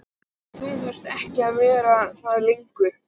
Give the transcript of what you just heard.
En nú þurfti ég ekki að vera það lengur.